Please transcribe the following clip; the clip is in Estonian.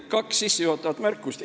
Kaks sissejuhatavat märkust.